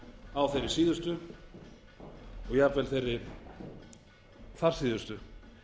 á þeirri síðustu og jafnvel þeirri þarsíðustu